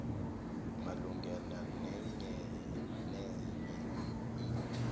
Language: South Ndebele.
malungana nenyenenye i